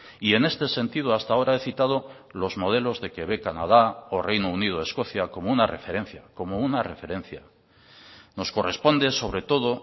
y en este sentido hasta ahora he citado los modelos de quebec canada o reino unido escocia como una referencia como una referencia nos corresponde sobre todo